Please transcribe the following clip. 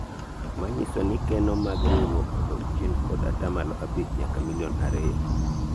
manyiso ni keno mag riwruok odok chien kod atamalo abich nyaka milion ariyo